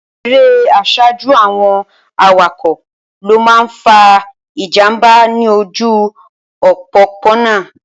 Erè àsájù àwọn awakọ̀ ló máa ń fa ìjànbá ní ojú òpópónà.